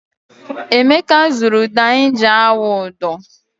Emeka zụrụ ụdọ anyị ji awụ ụdọ.